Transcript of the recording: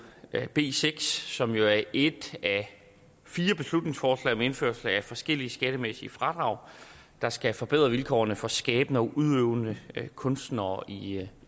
b seks som jo er et af fire beslutningsforslag om indførelse af forskellige skattemæssige fradrag der skal forbedre vilkårene for skabende og udøvende kunstnere i